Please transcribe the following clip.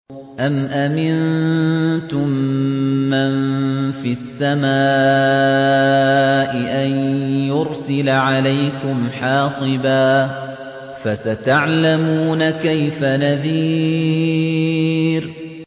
أَمْ أَمِنتُم مَّن فِي السَّمَاءِ أَن يُرْسِلَ عَلَيْكُمْ حَاصِبًا ۖ فَسَتَعْلَمُونَ كَيْفَ نَذِيرِ